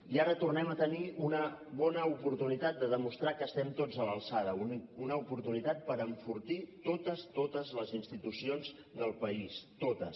i ara tornem a tenir una bona oportunitat de demostrar que estem tots a l’alçada una oportunitat per enfortir totes totes les institucions del país totes